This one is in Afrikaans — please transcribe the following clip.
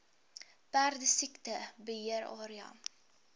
perdesiekte beheer area